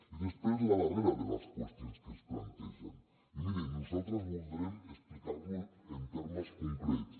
i després la darrera de les qüestions que es plantegen i miri nosaltres voldrem explicar ho en termes concrets